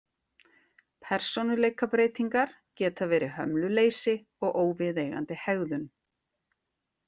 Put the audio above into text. Persónuleikabreytingar geta verið hömluleysi og óviðeigandi hegðun.